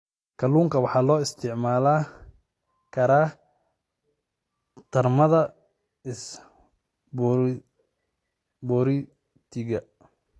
Kalluunka waxaa loo isticmaali karaa tartamada isboortiga.